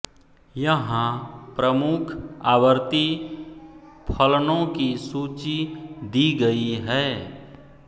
यहाँ प्रमुख आवर्ती फलनों की सूची दी गयी है